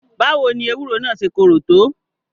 Báwo ni ewúro naa ṣé korò tó?